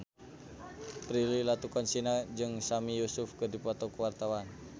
Prilly Latuconsina jeung Sami Yusuf keur dipoto ku wartawan